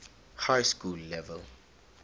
high school level